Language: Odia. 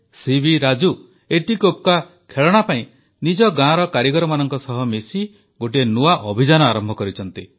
ସିବି ରାଜୁ ଏତିକୋପ୍ପକା ଖେଳଣା ପାଇଁ ନିଜ ଗାଁର କାରିଗରମାନଙ୍କ ସହ ମିଶି ଗୋଟିଏ ନୂଆ ଅଭିଯାନ ଆରମ୍ଭ କରିଛନ୍ତି